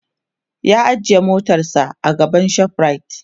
ya ajiye motarsa a gaban shoprite